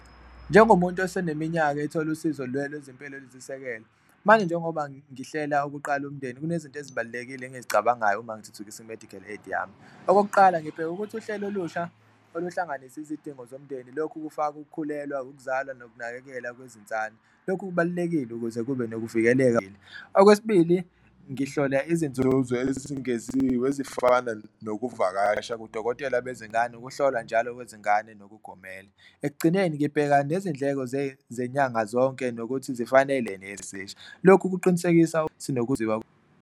Njengomuntu oseneminyaka ethola usizo lwezempilo oluyisisekelo manje njengoba ngihlela ukuqala umndeni kunezinto ezibalulekile engizicabangayo uma ngithuthukisa i-medical aid yami. Okokuqala, ngibheka ukuthi uhlelo olusha oluhlanganisa izidingo zomndeni lokhu kufaka ukukhulelwa, ukuzala nokunakekela kwezinswane, lokhu kubalulekile ukuze kube nokuvikeleka . Okwesibili, ngihlola izinzuzo ezingeziwe ezifana nokuvakasha kudokotela bezingane, ukuhlolwa njalo kwezingane nokugomela. Ekugcineni ngibheka nezindleko zenyanga zonke nokuthi zifanele , lokhu kuqinisekisa .